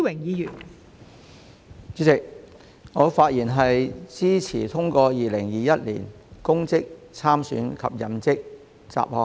代理主席，我發言支持通過《2021年公職條例草案》。